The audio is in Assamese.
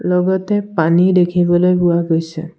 লগতে পানী দেখিবলৈ পোৱা গৈছে।